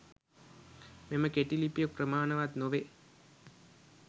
මෙම කෙටි ලිපිය ප්‍රමාණවත් නොවේ.